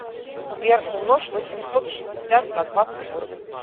сбер умножь восемьсот шестьдесят на двадцать восемь